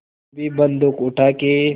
फिर भी बन्दूक उठाके